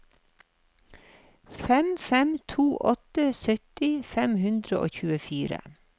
fem fem to åtte sytti fem hundre og tjuefire